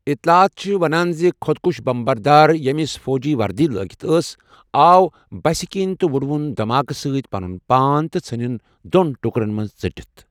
اِطلاعات چھِ ونٛان زِ خۄدکُش بم بردار، ییٚمِس فوجی وردی لٲگِتھ ٲس، آو بَسہِ كِنۍ تہٕ وٕڈووُن دَماکہٕ سۭتۍ پَنُن پان ، تہٕ ژھٕنِن دۄن ٹُكرن منز ژٔٹِتھ ۔